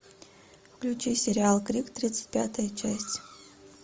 включи сериал крик тридцать пятая часть